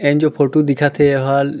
N जो photo दिखत हे एहल --